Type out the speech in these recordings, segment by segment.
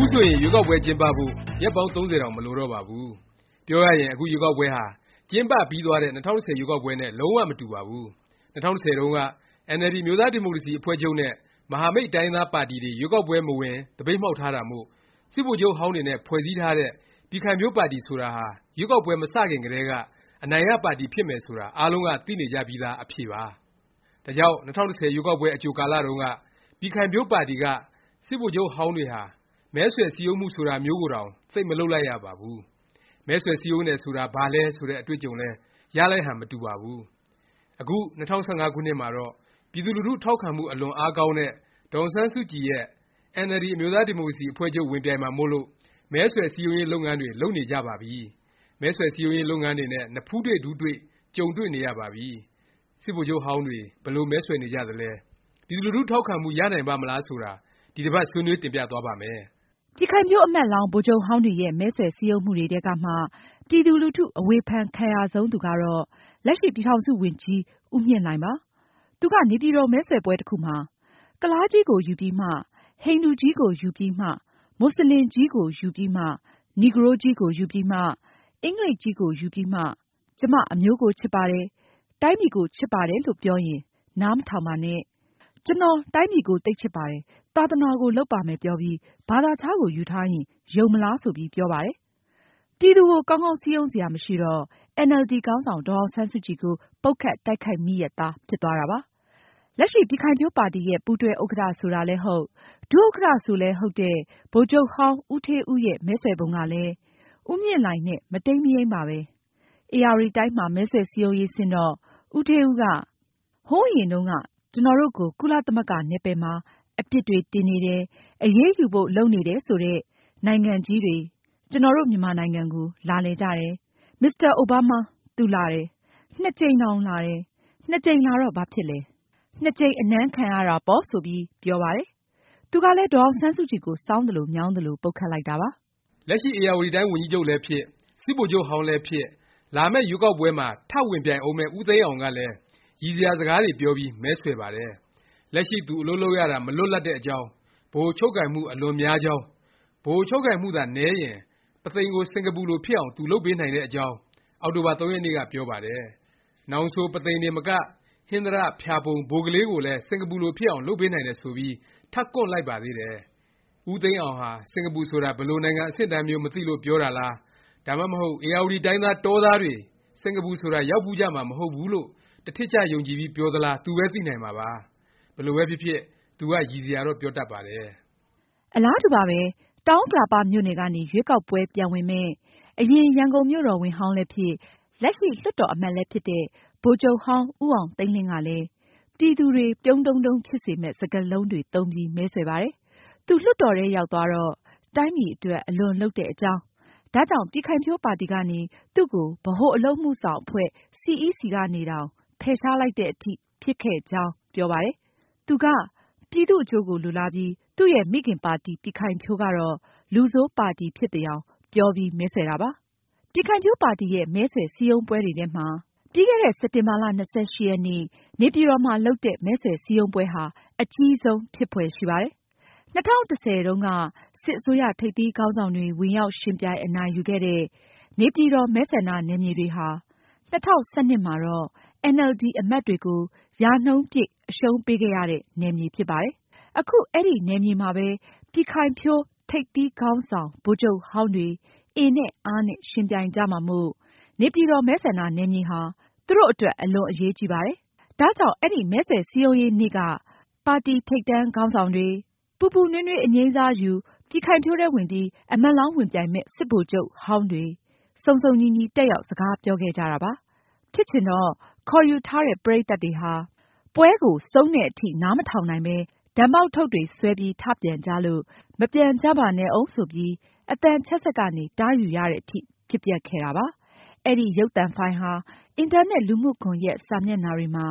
ခုဆိုရင် ရွေးကောက်ပွဲကျင်းပဖို့ ရက်ပေါင်း ၃၀ တောင် မလိုတော့ပါဘူး။ ပြောရရင် အခုရွေးကောက်ပွဲဟာ ကျင်းပပြီးသွားတဲ့ ၂၀၁၀ ရွေးကောက်ပွဲနဲ့ လုံး၀ မတူပါဘူး။ ၂၀၁၀ တုန်းက အင်န်အယ်လ်ဒီ အမျိုးသားဒီမိုကရေစီ အဖွဲ့ချုပ်နဲ့ မဟာမိတ် တိုင်းရင်းသားပါတီတွေ ရွေးကောက်ပွဲ မဝင် သပိတ်မှောက်ထားတာမို့ စစ်ဗိုလ်ချုပ်ဟောင်းတွေနဲ့ ဖွဲ့စည်းထားတဲ့ ပြည်ခိုင်ဖြိုးပါတီ ဆိုတာဟာ ရွေးကောက်ပွဲ မ စခင်ကတည်းက အနိုင်ရပါတီ ဖြစ်မယ် ဆိုတာ အားလုံးက သိနေကြပြီးသား အဖြေပါ။ ဒါကြောင့် ၂၀၁၀ ရွေးကောက်ပွဲ အကြိုကာလတုန်းက ပြည်ခိုင်ဖြိုးပါတီက စစ်ဗိုလ်ချုပ်ဟောင်းတွေဟာ မဲဆွယ် စည်းရုံးမှု ဆိုတာမျိုးကိုတောင် သိပ် မလုပ်လိုက်ရပါဘူး။ မဲဆွယ် စည်းရုံးတယ် ဆိုတာ ဘာလဲ ဆိုတဲ့ အတွေ့အကြုံလည်း ရလိုက်ဟန် မတူပါဘူး။ အခု ၂၀၁၅ ခုနှစ်မှာတော့ ပြည်သူလူထု ထောက်ခံမှု အလွန်အားကောင်းတဲ့ ဒေါ်အောင်ဆန်းစုကြည်ရဲ့ အင်န်အယ်လ်ဒီ အမျိုးသားဒီမိုကရေစီ အဖွဲ့ချုပ် ဝင်ပြိုင်မှာမို့လို့ မဲဆွယ် စည်းရုံးရေး လုပ်ငန်းတွေ လုပ်နေကြပါပြီ။ မဲဆွယ် စည်းရုံးရေး လုပ်ငန်းတွေနဲ့ နဖူးတွေ ဒူးတွေ့ ကြုံနေရပါပြီ။ စစ်ဗိုလ်ချုပ်ဟောင်းတွေ ဘယ်လို မဲဆွယ်နေကြသလဲ၊ ပြည်သူလူထု ထောက်ခံမှု ရနိုင်ပါ့မလား ဆိုတာ ဒီတစ်ပါတ် ဆွေးနွေး တင်ပြသွားပါ့မယ်။ ပြည်ခိုင်ဖြိုး အမတ်လောင်း ဗိုလ်ချုပ်ဟောင်းတွေရဲ့ မဲဆွယ် စည်းရုံးမှုတွေထဲကမှ ပြည်သူလူထု အဝေဖန်ခံရဆုံးသူကတော့ လက်ရှိ ပြည်ထောင်စု ဝန်ကြီး ဦးမြင့်လှိုင်ဖြစ်ပါတယ်။ သူက နေပြည်တော် မဲဆွယ်ပွဲ တစ်ခုမှာ “ ကုလားကြီးကို ယူပြီးမှ၊ ဟိန္ဒူကြီးကိုယူပြီးမှ၊ မွတ်ဆလင်ကြီးကိုယူပြီးမှ၊ နီဂရိုးကြီးကို ယူပြီးမှ အင်္ဂလိပ်ကြီးကိုယူပြီးမှ ကျမအမျိုးကို ချစ်ပါတယ်၊ တိုင်းပြည်ကိုချစ်ပါတယ်လို့ပြောရင် နားမထောင်ပါနဲ့။ ကျွန်တော် တိုင်းပြည်ကို သိပ်ချစ်ပါတယ် သာသနာကို လုပ်ပါမယ် ပြောပြီး ဘာသာခြားကို ယူထားရင် ယုံမလား။" ဆိုပြီး ပြောပါတယ်။ ပြည်သူကို ကောင်းကောင်း စည်းရုံးစရာ မရှိတော့ အင်န်အယ်လ်ဒီ ခေါင်းဆောင် ဒေါ်အောင်ဆန်းစုကြည်ကို ပုတ်ခတ် တိုက်ခိုက်မိရက်သား ဖြစ်သွားတာပါ။ လက်ရှိ ပြည်ခိုင်ဖြိုးပါတီရဲ့ ပူးတွဲ ဥက္ကဌ ဆိုလည်းဟုတ်၊ ဒုဥက္ကဌ ဆိုလည်း ဟုတ်တဲ့ ဗိုလ်ချုပ်ဟောင်း ဦးဌေးဦးရဲ့ မဲဆွယ်ပုံကလည်း ဦးမြင့်လှိုင်နဲ့ မတိမ်းမယိမ်းပါပဲ။ ဧရာဝတီတိုင်းမှာ မဲဆွယ် စည်းရုံးရေး ဆင်းတော့ ဦးဌေးဦးက “ ဟိုးအရင်တုန်းက ကျွန်တော်တို့ကို ကုလသမဂ္ဂ နယ်ပယ်မှာ အပြစ်တွေ တင်နေတယ်။ အရေးယူဖို့ လုပ်နေတယ်ဆိုတဲ့ နိုင်ငံကြီးတွေ ကျွန်တော်တို့ မြန်မာနိုင်ငံကို လာလည်ကြတယ်။ မစ္စတာ အိုဘားမား။ သူလာတယ်။ နှစ်ကြိမ်တောင် လာတယ်။ နှစ်ကြိမ်လာတော့ ဘာဖြစ်လဲ။ နှစ်ကြိမ် အနမ်းခံရတာပေါ့" ဆိုပြီးဖြစ်ပါတယ်။ သူကလည်း ဒေါ်အောင်ဆန်းစုကြည်ကို စောင်းသလို မြောင်းသလို ပုတ်ခတ်လိုက်တာပါ။ လက်ရှိ ဧရာဝတီတိုင်း ဝန်ကြီးချုပ်လည်းဖြစ်၊ စစ်ဗိုလ်ချုပ်ဟောင်းလည်းဖြစ်၊ လာမယ့် ရွေးကောက်ပွဲမှာ ထပ်ဝင်ပြိုင်ဦးမယ့် ဦးသိန်းအောင် ကလည်း ရီစရာ စကားတွေ ပြောပြီး မဲဆွယ်ပါတယ်။ လက်ရှိ သူ အလုပ်လုပ်ရတာ မလွတ်လပ်တဲ့အကြောင်း၊ ဗဟို ချုပ်ကိုင်မှု အလွန်များကြောင်း၊ ဗဟိုချုပ်ကိုင်မှုသာ နည်းရင် ပုသိမ်ကို စင်ကာပူလို ဖြစ်အောင် သူလုပ်ပေးနိုင်တဲ့အကြောင်း အောက်တိုဘာ ၃ ရက်နေ့က ပြောပါတယ်။ နောင်ဆို ပုသိမ်တင်မက ဟင်္သာတ၊ ဖျာပုံ၊ ဘိုကလေး ကိုလည်း စင်ကာပူလို ဖြစ်အောင် လုပ်ပေးနိုင်တယ် ဆိုပြီး ထပ်ကွန့်လိုက်ပါသေးတယ်။ ဦးသိန်းအောင်ဟာ စင်ကာပူဆိုတာ ဘယ်လိုနိုင်ငံ အဆင့်အတန်းမျိုး မသိလို့ ပြောတာလား၊ ဒါမှမဟုတ် ဧရာဝတီတိုင်းသား တောသားတွေ စင်ကာပူဆိုတာ ရောက်ဖူးကြမှာ မဟုတ်ဘူးလို့ တစ်ထစ်ချ ယုံကြည်ပြီး ပြောသလား သူပဲ သိနိုင်မှာပါ။ ဘယ်လိုပဲဖြစ်ဖြစ် သူက ရီစရာတော့ ပြောတတ်ပါတယ်။ အလားတူပါပဲ။ တောင်ဥက္ကလာပ မြို့နယ်ကနေ ရွေးကောက်ပွဲ ပြန်ဝင်မယ့် အရင် ရန်ကုန်မြို့တော်ဝန်ဟောင်းလည်းဖြစ်၊ လက်ရှိ လွှတ်တော် အမတ်လည်းဖြစ်တဲ့ ဗိုလ်ချုပ်ဟောင်း ဦးအောင်သိန်းလင်း ကလည်း ပြည်သူတွေ ပြုံးတုံးတုံး ဖြစ်စေမယ့် စကားလုံးတွေ သုံးပြီး မဲဆွယ်ပါတယ်။ သူ လွှတ်တော်ထဲ ရောက်သွားတော့ တိုင်းပြည်အတွက် အလွန်အလုပ်လုပ်တဲ့ အကြောင်း၊ ဒါကြောင့် ပြည်ခိုင်ဖြိုးပါတီကနေ သူ့ကို ဗဟိုအလုပ်အမှုဆောင် အဖွဲ့ CEC ကနေတောင် ဖယ်ရှားလိုက်သည် အထိ ဖြစ်ခဲ့ကြောင်း ပြောပါတယ်။ သူက ပြည်သူ့အကျိုးကို လိုလားပြီး သူ့ရဲ့ မိခင်ပါတီ ပြည်ခိုင်ဖြိုးကတော့ လူဆိုးပါတီ ဖြစ်သယောင် ပြောပြီး မဲဆွယ်တာပါ။ ပြည်ခိုင်ဖြိုးပါတီရဲ့ မဲဆွယ် စည်းရုံးပွဲတွေထဲမှာ ပြီးခဲ့တဲ့ စက်တင်ဘာ ၂၈ ရက်နေ့ နေပြည်တော်မှာ လုပ်တဲ့ မဲဆွယ် စည်းရုံးပွဲဟာ အကြီးဆုံး ဖြစ်ဖွယ်ရှိပါတယ်။ ၂၀၁၀ တုန်းက စစ်အစိုးရ ထိပ်သီးခေါင်းဆောင်တွေ ဝင်ရောက်ယှဉ်ပြိုင် အနိုင်ယူခဲ့တဲ့ နေပြည်တော် မဲဆန္ဒနယ်မြေတွေဟာ ၂၀၁၂ မှာတော့ အင်န်အယ်လ်ဒီ အမတ်တွေကို ရာခိုင်နှုန်းပြည့် အရှုံးပေးခဲ့ရတဲ့ နယ်မြေ ဖြစ်ပါတယ်။ အခု အဲဒီ နယ်မြေမှာပဲ ပြည်ခိုင်ဖြိုး ထိပ်သီးခေါင်းဆောင် ဗိုလ်ချုပ်ဟောင်းတွေ အင်နဲ့ အားနဲ့ ယှဉ်ပြိုင်ကြမှာမို့ နေပြည်တော် မဲဆန္ဒနယ်မြေဟာ သူတို့ အတွက် အလွန်အရေးကြီးပါတယ်။ ဒါကြောင့် အဲဒီ မဲဆွယ်စည်းရုံးရေး နေ့က ပါတီထိပ်တန်းခေါင်းဆောင်တွေ၊ ပူပူနွေးနွေး အငြိမ်းစားယူ၊ ပြည်ခိုင်ဖြိုးထဲဝင်ပြီး အမတ်လောင်း ဝင်ပြိုင်မယ့် စစ်ဗိုလ်ချုပ်ဟောင်းတွေ စုံစုံညီညီ တက်ရောက် စကားပြောခဲ့ကြတာ ဖြစ်ပါတယ်။ ဖြစ်ချင်တော့ ခေါ်ယူထားတဲ့ ပရိတ်သတ်တွေဟာ ပွဲကို ဆုံးတဲ့အထိတောင် နားမထောင်နိုင်ပဲ ဒန်ပေါက်ထုတ်တွေ ဆွဲပြီး ထ ပြန်ကြလို့ မပြန်ကြပါနဲ့ဦး ဆိုပြီး အသံချဲ့စက်ကနေ တားယူရသည် အထိ ဖြစ်ပျက်ခဲ့ပါတယ်။ အဲဒီ ရုပ်သံဖိုင် အင်တာနက် လူမှုကွန်ယက် စာမျက်နှာတွေမှာ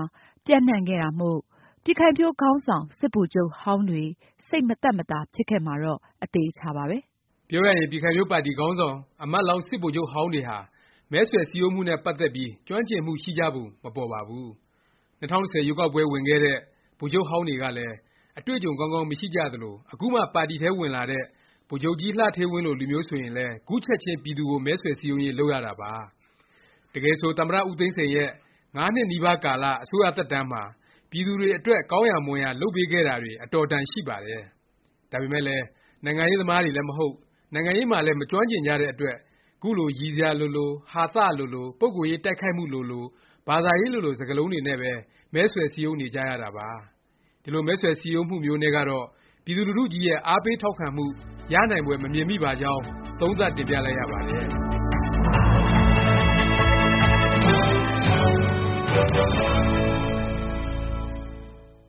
ပျံ့နှံ့ခဲ့တာမို့ ပြည်ခိုင်ဖြိုးခေါင်းဆောင် စစ်ဗိုလ်ချုပ်ဟောင်းတွေ စိတ်မသက်သာ ဖြစ်ခဲ့မှာကတော့ အသေအခြာပါပဲ။ ပြောရရင် ပြည်ခိုင်ဖြိုးပါတီ ခေါင်းဆောင် အမတ်လောင်း စစ်ဗိုလ်ချုပ်ဟောင်းတွေဟာ မဲဆွယ် စည်းရုံးမှုနဲ့ ပတ်သက်ပြီး ကျွမ်းကျင်မှု ရှိကြပုံ မပေါ်ပါဘူး။ ၂၀၁၀ ရွေးကောက်ပွဲ ဝင်ခဲ့တဲ့ ဗိုလ်ချုပ်ဟောင်းတွေကလည်း အတွေ့အကြုံ ကောင်းကောင်း မရှိကြသလို အခုမှ ပါတီထဲဝင်လာတဲ့ ဗိုလ်ချုပ်ကြီး လှဌေးဝင်းလို လူမျိုးဆိုရင်လည်း ခုချက်ခြင်း ပြည်သူကို မဲဆွယ်စည်းရုံးရေး လုပ်ရတာပါ။ တကယ်ဆို သမ္မတ ဦးသိန်းစိန် ရဲ့ ငါးနှစ်နီးပါးကာလ အစိုးရ သက်တန်းမှာ ပြည်သူတွေအတွက် ကောင်းရာ မွန်ရာ လုပ်ပေးခဲ့တာတွေ အတော်အတန် ရှိပါတယ်။ ဒါပေမယ့်လည်း နိုင်ငံရေးသမားတွေလည်း မဟုတ်၊ နိုင်ငံရေးမှာလည်း မကျွမ်းကျင်ကြတဲ့ အတွက် ခုလို ရီစရာလိုလို၊ ဟာသ လိုလို၊ ပုဂ္ဂိုလ်ရေး တိုက်ခိုက်မှုလိုလို၊ ဘာသာရေးလိုလို စကားလုံးတွေနဲ့ပဲ မဲဆွယ်စည်းရုံးနေကြရတာပါ။ ဒီလို မဲဆွယ် စည်းရုံးမှုမျိုးနဲ့ကတော့ ပြည်သူလူထုကြီးရဲ့ အားပေး ထောက်ခံမှု ရနိုင်ဖွယ် မမြင်မိပါကြောင်း သုံးသပ်တင်ပြလိုက်ရပါတယ်။